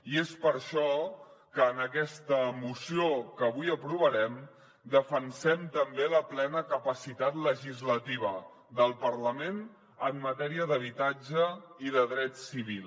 i és per això que en aquesta moció que avui aprovarem defensem també la plena capacitat legislativa del parlament en matèria d’habitatge i de dret civil